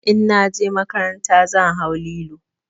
In na je makaranta zan hau lilo.